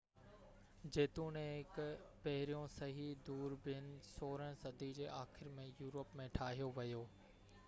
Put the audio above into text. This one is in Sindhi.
جيتوڻيڪ پهريون صحيح دوربين 16 صدي جي آخر ۾ يورپ ۾ ٺاهيو ويو